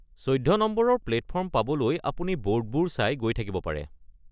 চৈধ্য নম্বৰৰ প্লেটফৰ্ম পাবলৈ আপুনি বৰ্ডবোৰ চাই গৈ থাকিব পাৰে।